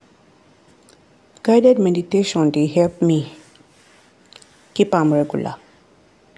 guided meditation dey help me keep am regular.